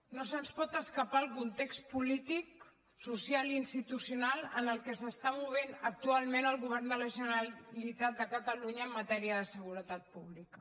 no se’ns pot escapar el context polític social i institucional en què s’està movent actualment el govern de la generalitat de catalunya en matèria de seguretat pública